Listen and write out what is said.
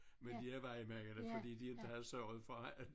Med lervejmændene fordi de havde inte havde sørget for at